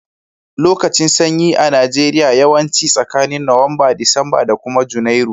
Lokacin sanyi a Najeriya yawanci tsakanin nowamba, Disamba da kuma junairu.